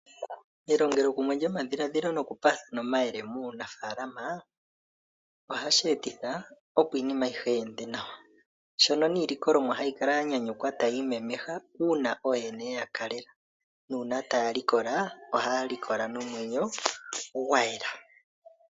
Elongelokumwe lyo adhiladhilo nokupaathana omayele muunafaalama ohashi etitha opo iinima ayihe yi ende nawa. Niilikolomwa ohayi kala ya nyanyukwa tayi imemeha uuna ooyene ye ya kalela. Uuna taya likola ohaya likola nomwenyo gwa yela.